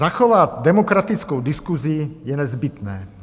Zachovat demokratickou diskusi je nezbytné.